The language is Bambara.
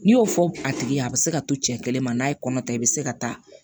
N'i y'o fɔ a tigi ye a bɛ se ka to cɛ kelen ma n'a ye kɔnɔ ta i bɛ se ka taa